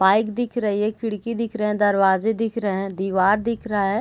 Pipe दिख रही है खिड़की दिख रहे हैं दरवाजे दिख रहे हैं दिवार दिख रहा है।